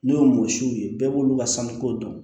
N'o ye mɔsiw ye bɛɛ b'olu ka sanniko dɔn